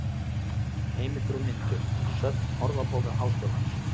Heimildir og myndir: Söfn Orðabókar Háskólans.